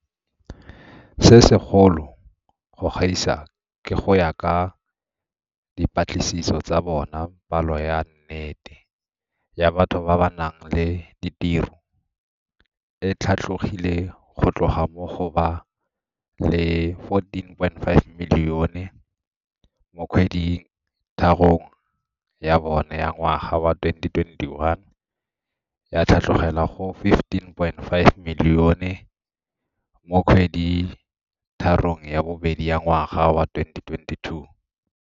Se se kgolo go gaisa ke gore go ya ka dipatlisiso tsa bona palo ya nnete ya batho ba ba nang le ditiro e tlhatlhogile go tloga mo go ba le 14.5 milione mo kgwedi tharong ya bone ya ngwaga wa 2021 ya tlhatlhogela go 15.5 milione mo kgweditharong ya bobedi ya ngwaga wa 2022.